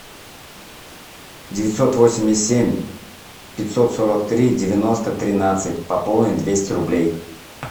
девятьсот восемьдесят семь пятьсот сорок три девяносто тринадцать пополнить двести рублей